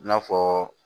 I n'a fɔ